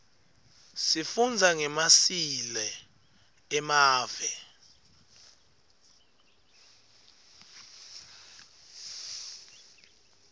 sifundza ngemasileo emave